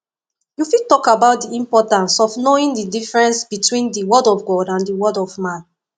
you fit talk about di importance of knowing di difference between di word of god and word of man